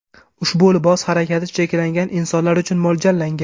Ushbu libos harakati cheklangan insonlar uchun mo‘ljallangan.